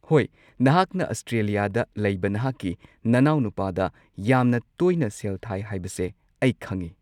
ꯍꯣꯏ, ꯅꯍꯥꯛꯅ ꯑꯁꯇ꯭ꯔꯦꯂꯤꯌꯥꯗ ꯂꯩꯕ ꯅꯍꯥꯛꯀꯤ ꯅꯅꯥꯎꯅꯨꯄꯥꯗ ꯌꯥꯝꯅ ꯇꯣꯏꯅ ꯁꯦꯜ ꯊꯥꯏ ꯍꯥꯏꯕꯁꯦ ꯑꯩ ꯈꯪꯉꯤ꯫